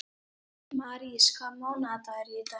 Marís, hvaða mánaðardagur er í dag?